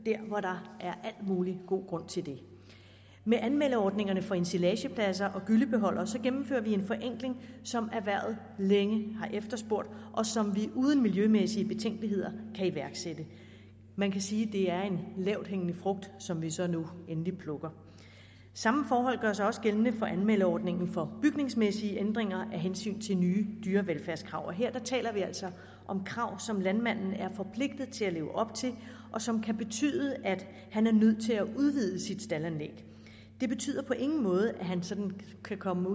hvor der er al mulig god grund til det med anmeldeordningerne for ensilagepladser og gyllebeholdere gennemfører vi en forenkling som erhvervet længe har efterspurgt og som vi uden miljømæssige betænkeligheder kan iværksætte man kan sige det er en lavthængende frugt som vi så nu endelig plukker samme forhold gør sig også gældende for anmeldeordningen for bygningsmæssige ændringer med hensyn til nye dyrevelfærdskrav og her taler vi altså om krav som landmanden er forpligtet til at leve op til og som kan betyde at han er nødt til at udvide sit staldanlæg det betyder på ingen måde at han sådan kan komme